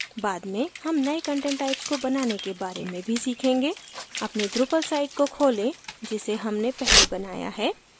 बाद में हम नए content types को बनाने के बारे में भी सीखेंगे अपनी drupal site को खोलें जिसे हमने पहले बनाया है